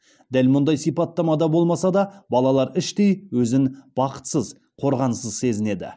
дәл мұндай сипаттамада болмаса да балалар іштей өзін бақытсыз қорғансыз сезінеді